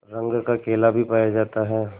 रंग का केला भी पाया जाता है